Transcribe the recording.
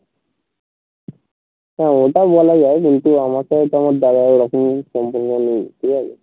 হা ওটা বলা যায় কিন্তু আমার সাথে তো আমার দাদার ওরকম সম্পর্ক নেই ঠিক আছে